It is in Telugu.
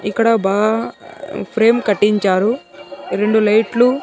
ఇక్కడ బాగ్-- ఫ్రేమ్ కట్టించారు రెండు లైట్లు .